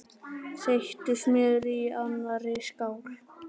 Þeyttu smjörið í annarri skál.